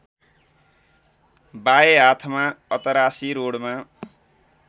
बाए हाथमा अतरासी रोडमा